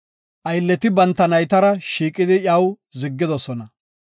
Aylleti banta naytara shiiqidi iyaw ziggidosona.